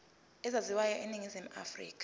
ezaziwayo eningizimu afrika